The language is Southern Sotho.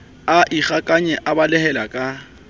a ikgakanye a balehela ka